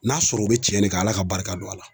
N'a sɔrɔ o be tiɲɛ de kan Ala ka barika don a la.